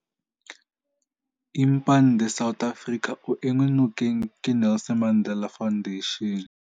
Impande South Africa o enngwe nokeng ke Nelson Mandela Foundation.